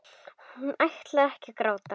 Hún ætlar ekki að gráta.